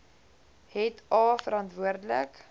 het a verantwoordelik